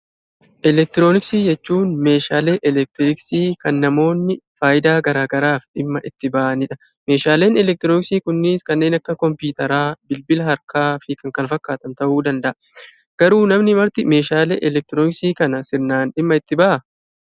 Eelektrooniksii jechuun; meeshalee eelektristii Kan namoonni faayidaa garagaraaf dhimmaa itti ba'aniidha. meeshaleen eelektrooniksi kunninis kannen akka koompiwuuteraa, bilbilaa harkaafi kkf ta'u danda'a. garuu, namni Marti meeshalee eelektrooniksi kana seeran dhimmaa itti ba'aa?